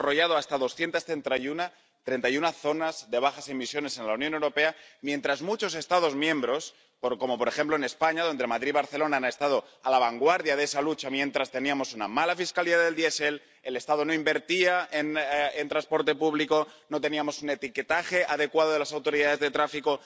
Se han desarrollado hasta 231 zonas de bajas emisiones en la Unión Europea, mientras en muchos Estados miembros —como, por ejemplo, en España, donde Madrid y Barcelona han estado a la vanguardia de esa lucha-teníamos una mala fiscalidad del diésel, el Estado no invertía en transporte público, no teníamos un etiquetaje adecuado de las autoridades de tráfico...